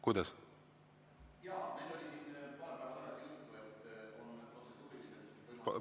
Kuidas?